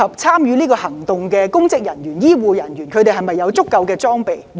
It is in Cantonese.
參與行動的公職人員和醫護人員是否有足夠裝備？